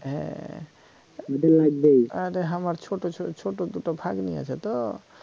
হ্যা আরে আমার ছোটো দুটো ভাগ্নি আছে তো